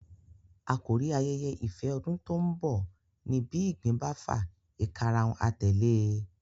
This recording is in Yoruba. Àkórí ayẹyẹ ìfẹ ọdún tó ń bọ̀ ní bí ìgbín bá fà ìkarahun a tẹ̀le e